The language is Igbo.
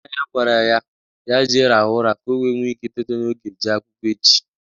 Nna ya gwara ya jee rahụ ụra ka o nwee ike itete n'oge jee akwụkwọ echi